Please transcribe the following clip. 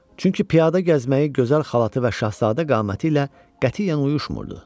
Çünki piyada gəzməyi gözəl xalatı və şahzadə qaməti ilə qətiyyən uyuşmurdu.